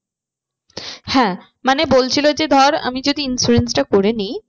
হ্যাঁ মানে বলছিলো যে ধর আমি যদি insurance টা করে নিই।